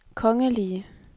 kongelige